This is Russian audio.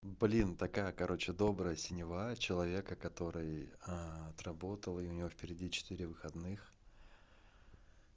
блин такая короче добрая синева человека который а отработал и у него впереди четыре выходных